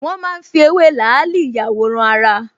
Wọ́n máa ń fi ewé làálì ìyàwòrán-ara